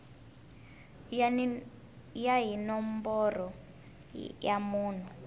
ya hi nomboro ya munhu